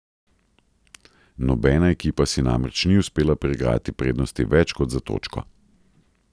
Nobena ekipa si namreč ni uspela priigrati prednosti več kot za točko.